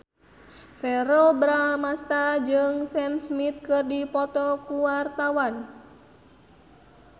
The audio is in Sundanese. Verrell Bramastra jeung Sam Smith keur dipoto ku wartawan